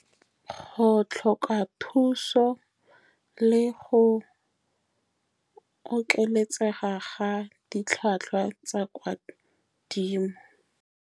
Go tlhoka thuso, le go oketsega ga ditlhwatlhwa tsa kwa godimo.